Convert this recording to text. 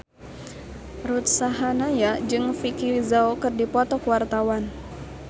Ruth Sahanaya jeung Vicki Zao keur dipoto ku wartawan